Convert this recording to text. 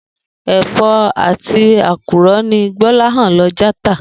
È̩fó̩ etí àkùrò̩ ni Gbó̩láhàn lo̩ já tà